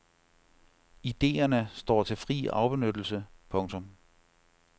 Idéerne står til fri afbenyttelse. punktum